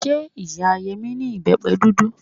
Ṣé ìyá Yẹmí ní ìbẹ́pẹ dúdú?